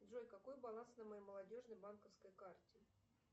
джой какой баланс на моей молодежной банковской карте